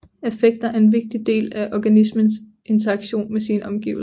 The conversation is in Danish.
Affekter er en vigtig del af en organismes interaktion med sine omgivelser